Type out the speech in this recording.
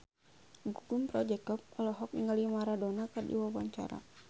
Gugum Project Pop olohok ningali Maradona keur diwawancara